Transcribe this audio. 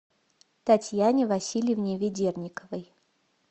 татьяне васильевне ведерниковой